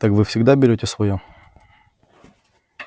так вы всегда берете своё